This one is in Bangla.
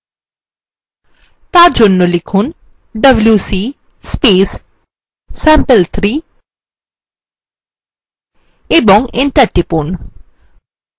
for জন্য লিখুন wc sample3 এবং enter টিপুন